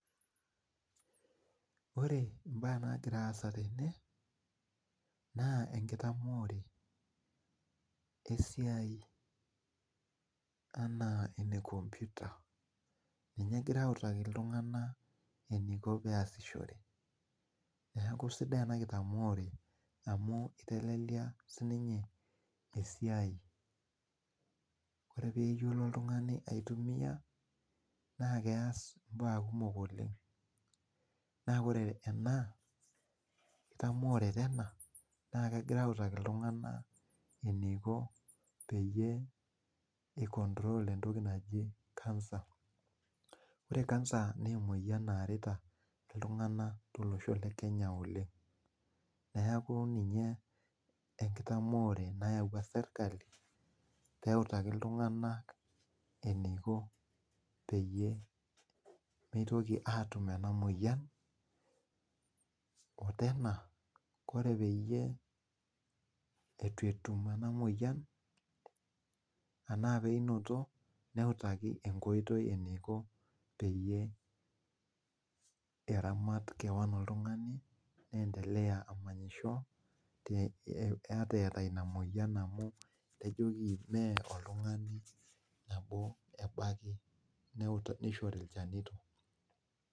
Ore mbaa nagira aasa tene na enkitaamore esiai ena enkomputa ninye egirai aitadol ltunganak ana eniko peasishore neaku sidai ena kitamore amu itelelia esiai ore peyiolo oltungani aitumia na keas mbaa kumok oleng na ore ena enkitamore ena na kegirai autaa ltunganak eniko pei control entoki naji kansa ore kansa na emoyian naarita ltunganak tolosho lekenya oleng neaku eyawua serkali peutali ltunganak eniko peyie mitoki atum enamoyian ore peyie etuetum enamoyian neutaki enkoitoi enkoitoi eramat keo n oltungani ata eeta inamoyian amu niahorilchanito.